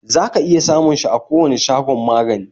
Za ka iya samun shi a kowani shagon magani